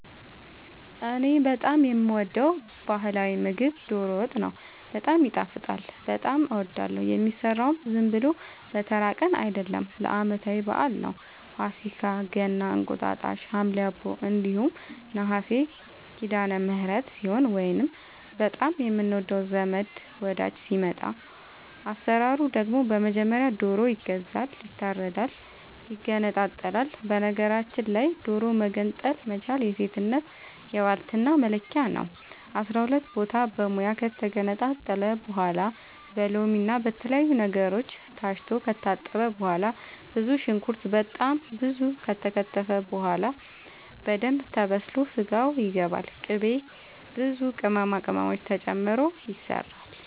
እኔ በጣም የምወደው በህላዊ ምግብ ዶሮ ወጥ ነው። በጣም ይጣፍጣል በጣም አወዳለሁ። የሚሰራውም ዝም ብሎ በተራ ቀን አይደለም ለአመታዊ በአል ነው። ፋሲካ ገና እንቁጣጣሽ ሀምሌ አቦ እንዲሁም ነሀሴ ሲዳለምህረት ሲሆን ወይንም በጣም የምንወደው ዘመድ ወዳጅ ሲመጣ። አሰራሩ ደግሞ በመጀመሪያ ዶሮ ይገዛል ይታረዳል ይገነጣጠላል በነገራችል ላይ ዶሮ መገንጠል መቻል የሴትነት የባልትና መለኪያ ነው። አስራሁለት ቦታ በሙያ ከተገነጣጠለ በኋላ በሎምና በተለያዩ ነገሮች ታስቶ ከታጠበ በኋላ ብዙ ሽንኩርት በጣም ብዙ ከተከተፈ በኋላ በደንብ ተበስሎ ስጋው ይገባል ቅቤ ብዙ ቅመማ ቅመም ተጨምሮ ይሰራል